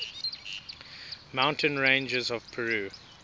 mountain ranges of peru